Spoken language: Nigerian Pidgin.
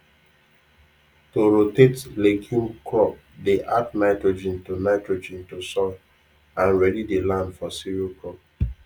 to rotate legume crop dey add nitrogen to nitrogen to soil and ready the land for cereal crop